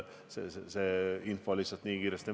Info muutub lihtsalt nii kiiresti.